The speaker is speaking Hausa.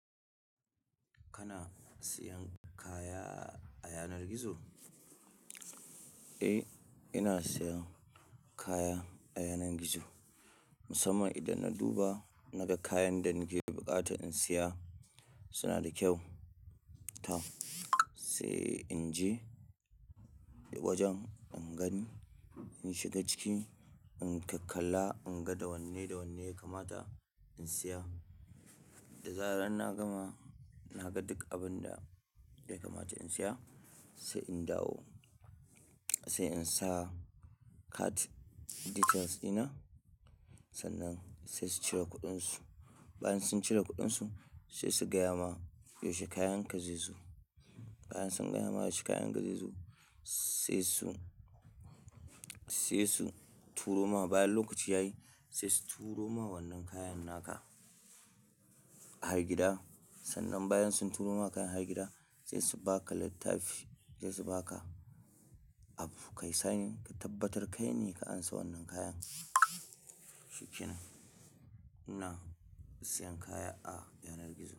Kana siyan kaya a yanar gizo? Eh, ina siyan kaya a yanar gizo. Musamman idan na duba nagan kayan da nake buƙata in siya suna da kyau. Toh yau sai in je wajen in gani, in shiga ciki, in ka kalla, in ga wanne da wanne ya kamata in siya. Da zarar na gama, na ga duk abin da ya kamata in siya sai in ɗawo, sai in sa card details ɗina. Sannan sai su cire kuɗinsu. Bayan sun cire kuɗinsu sai su gaya ma, "yaushe kayan ka zai zo?" bayan sun gaya ma yaushe kayan ka zai zo sai su, sai su turo ma bayan lokaci ya yi sai su turo ma wannan kayan naka har gida. Sannan bayan sun turo maka kayan har gida sai su baka littafi, sai su baka abu kayi signing, ka tabbatar kai ne ka ansa wannan kayan. Shikenan ina siyan kaya a yanar gizo.